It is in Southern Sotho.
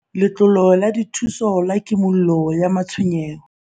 Letlole la Dithuso la Kimollo ya Matshwenyeho